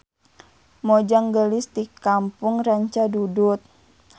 Mojang geulis ti kampung Rancadudut.